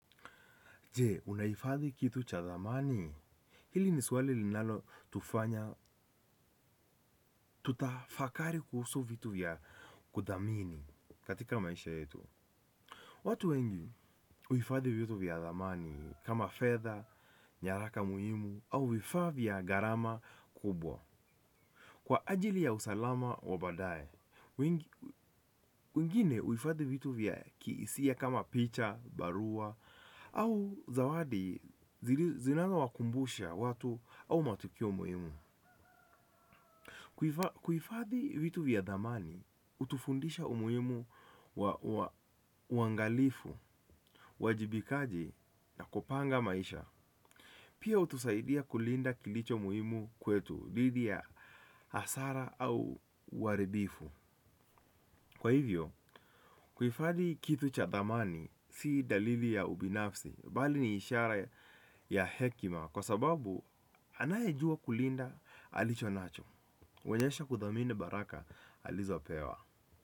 Je, unahifadhi kitu cha zamani? Hili ni swali linalo tufanya, tutafakari kuhusu vitu vya kuthamini katika maisha yetu. Watu wengi huhifadhi vitu vya zamani kama fedha, nyaraka muhimu, au vifaa vya garama kubwa. Kwa ajili ya usalama wa badae, wengine huifadhi vitu vya kihisia kama picha, barua, au zawadi zinaazo wakumbusha watu au matukio muhimu. Kuifadhi vitu vya dhamani, hutufundisha umuhimu wa uangalifu, uwajibikaji na kupanga maisha. Pia hutusaidia kulinda kilicho muhimu kwetu, dhidi ya hasara au uharibifu. Kwa hivyo, kuhifadhi kitu cha thamani si dalili ya ubinafsi bali ni ishara ya hekima. Kwa sababu, anaye jua kulinda alicho nacho, huonyesha kudhamini baraka alizo pewa.